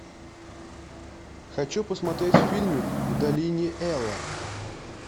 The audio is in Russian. хочу посмотреть фильмик в долине эла